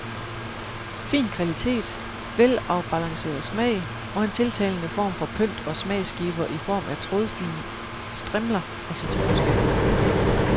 Fin kvalitet, velafbalanceret smag, og en tiltalende form for pynt og smagsgiver i form af trådfine strimler af citronskal.